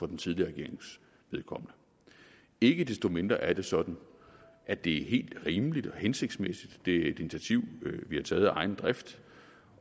den tidligere regerings vedkommende ikke desto mindre er det sådan at det er helt rimeligt og hensigtsmæssigt det er et initiativ vi har taget af egen drift